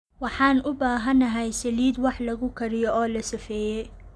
Waxaan u baahanahay saliid wax lagu kariyo oo la safeeyey.